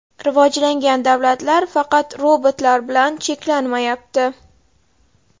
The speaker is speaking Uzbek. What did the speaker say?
Rivojlangan davlatlar faqat robotlar bilan cheklanmayapti.